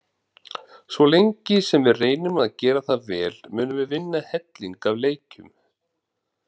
Svo lengi sem við reynum að gera það vel munum við vinna helling af leikjum.